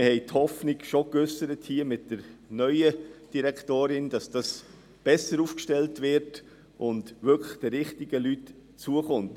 Wir haben die Hoffnung geäussert, dass es mit der neuen Direktorin besser läuft und die Prämienverbilligung wirklich den richtigen Leuten zukommt.